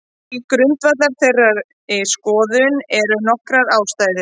Til grundvallar þeirri skoðun eru nokkrar ástæður.